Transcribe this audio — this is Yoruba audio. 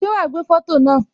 Ṣé wá gbé foto náà